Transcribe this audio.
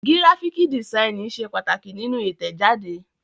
Gíráfíkì dìsáínì ṣe pàtàkì nínú Ìtẹ̀jáde.